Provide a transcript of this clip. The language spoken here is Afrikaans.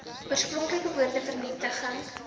oorspronklike woorde vernietig